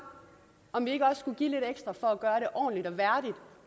om vi ikke også skulle give lidt ekstra for at gøre det ordentligt